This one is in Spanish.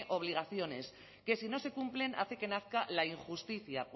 obligaciones que si no se cumplen hace que nazca la injusticia